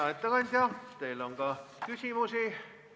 Hea ettekandja, teile on ka küsimusi.